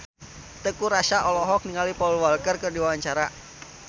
Teuku Rassya olohok ningali Paul Walker keur diwawancara